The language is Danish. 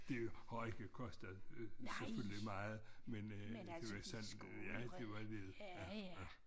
Det har ikke kostet selvfølgelig meget men øh det var sand ja det var lid ja ja